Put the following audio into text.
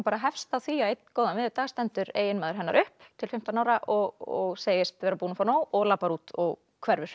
hefst á því að einn góðan veðurdag stendur eiginmaður hennar upp til fimmtán ára og segist vera búinn að fá nóg og labbar út og hverfur